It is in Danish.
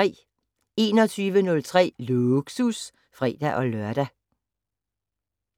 21:03: Lågsus (fre-lør)